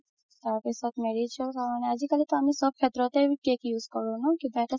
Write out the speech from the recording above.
তাৰপাছত marriage ৰ কাৰণে আজিকালিতো আমি চব শেত্ৰতে cake use কৰো ন কিবা এটা